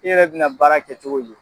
E yɛrɛ bɛna baara kɛ cogo di?